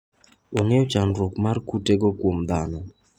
Ong'eyo chandruok mar kutego kuom dhano.